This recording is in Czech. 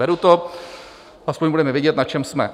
Beru to, aspoň budeme vědět, na čem jsme.